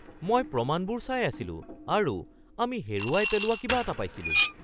মই প্ৰমাণবোৰ চাই আছিলো আৰু আমি হেৰুৱাই পেলোৱা কিবা এটা পাইছিলোঁ